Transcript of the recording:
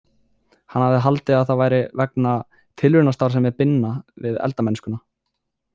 Hann hafði haldið að það væri vegna tilraunastarfsemi Binna við eldamennskuna.